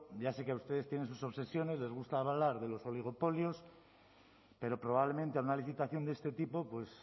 ya sé que ustedes tienen sus obsesiones les gusta hablar de los oligopolios pero probablemente a una licitación de este tipo pues